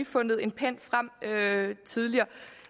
fundet en pen frem tidligere